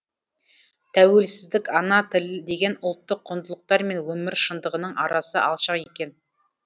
тәуелсіздік ана тіл деген ұлттық құндылықтар мен өмір шындығының арасы алшақ екен